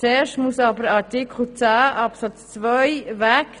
Zuerst muss aber Artikel 10 Absatz 2 weg.